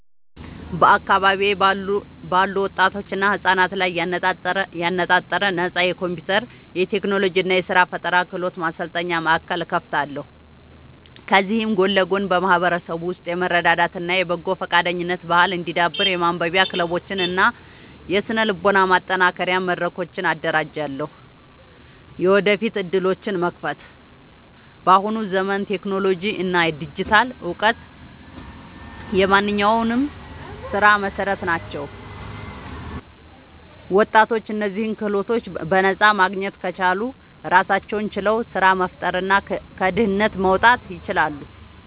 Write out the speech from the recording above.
በአካባቢዬ ባሉ ወጣቶችና ህጻናት ላይ ያነጣጠረ ነፃ የኮምፒውተር፣ የቴክኖሎጂ እና የስራ ፈጠራ ክህሎት ማሰልጠኛ ማእከል እከፍታለሁ። ከዚህም ጎን ለጎን በማህበረሰቡ ውስጥ የመረዳዳት እና የበጎ ፈቃደኝነት ባህል እንዲዳብር የማንበቢያ ክለቦችን እና የስነ-ልቦና ማጠናከሪያ መድረኮችን አደራጃለሁ። የወደፊት ዕድሎችን መክፈት፦ በአሁኑ ዘመን ቴክኖሎጂ እና ዲጂታል እውቀት የማንኛውም ስራ መሰረት ናቸው። ወጣቶች እነዚህን ክህሎቶች በነፃ ማግኘት ከቻሉ ራሳቸውን ችለው ስራ መፍጠርና ከድህነት መውጣት ይችላሉ።